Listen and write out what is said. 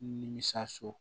Nimisi